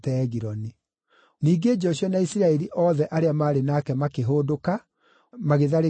Ningĩ Joshua na Isiraeli othe arĩa maarĩ nake makĩhũndũka, magĩtharĩkĩra Debiri.